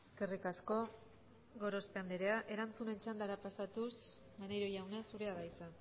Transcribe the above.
eskerrik asko gorospe andrea erantzunen txandara pasatuz maneiro jauna zurea da hitza